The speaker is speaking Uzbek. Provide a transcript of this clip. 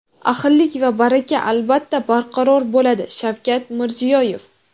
ahillik va baraka albatta barqaror bo‘ladi — Shavkat Mirziyoyev.